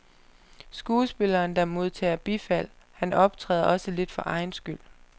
Skuespilleren der modtager bifald, han optræder også lidt for egen skyld.